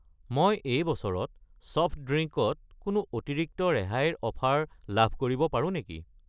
মই এই বছৰত ছফট ড্ৰিংক ত কোনো অতিৰিক্ত ৰেহাইৰ অফাৰ লাভ কৰিব পাৰোঁ নেকি?